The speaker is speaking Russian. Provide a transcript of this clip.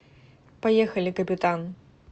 поехали капитан